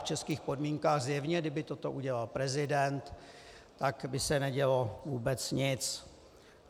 V českých podmínkách zjevně, kdyby toto udělal prezident, tak by se nedělo vůbec nic.